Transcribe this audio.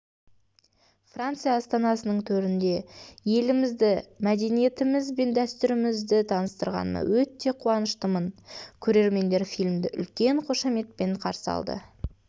франция астанасының төрінде елімізді мәдениетіміз бен дәстүрімізді таныстырғаныма өте қуаныштымын көрермендер фильмді үлкен қошаметпен қарсы алды